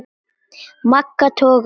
Magga togaði og